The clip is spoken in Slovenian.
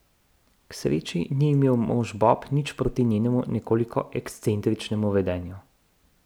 K sreči ni imel mož Bob nič proti njenemu nekoliko ekscentričnemu vedenju.